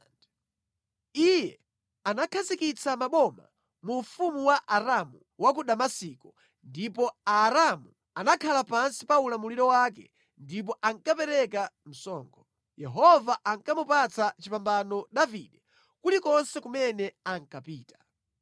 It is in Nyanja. Iye anakhazikitsa maboma mu ufumu wa Aramu wa ku Damasiko, ndipo Aaramu anakhala pansi pa ulamuliro wake ndipo ankapereka msonkho. Yehova ankamupatsa chipambano Davide kulikonse kumene ankapita.